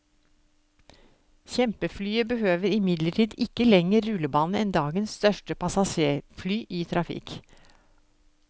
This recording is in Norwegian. Kjempeflyet behøver imidlertid ikke lengre rullebane enn dagens største passasjerfly i trafikk.